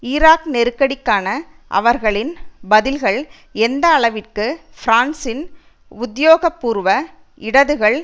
Iraq நெருக்கடிக்கான அவர்களின் பதில்கள் எந்த அளவிற்கு பிரான்சின் உத்தியோகபூர்வ இடதுகள்